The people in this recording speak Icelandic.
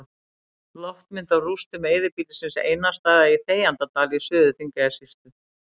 Loftmynd af rústum eyðibýlisins Einarsstaða í Þegjandadal í Suður-Þingeyjarsýslu.